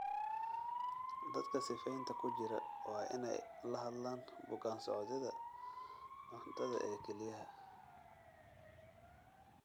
Dadka sifaynta sifaynta ku jira waa inay la hadlaan bukaan-socodyada cuntada ee kelyaha.